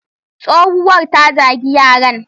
Tsowuwar ta zagi yaran.